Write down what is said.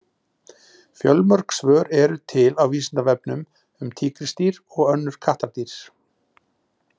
Fjölmörg svör eru til á Vísindavefnum um tígrisdýr og önnur kattardýr.